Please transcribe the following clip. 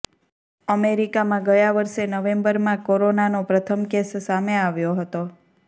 અમેરિકામાં ગયા વર્ષે નવેમ્બરમાં કોરોનાનો પ્રથમ કેસ સામે આવ્યો હતો